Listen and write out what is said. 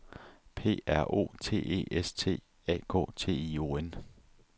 P R O T E S T A K T I O N